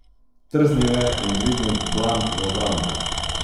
Trznil je in dvignil dlan v obrambo.